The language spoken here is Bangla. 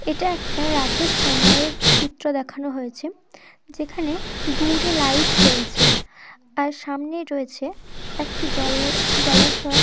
এটা একটা রাতের সময়ের চিত্র দেখানো হয়েছে যেখানে দুরে লাইট জ্বলছে আর সামনেই রয়েছে একটি জলের জলাশয়।